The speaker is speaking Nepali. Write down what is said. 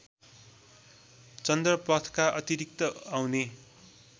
चन्द्रपथका अतिरिक्त आउने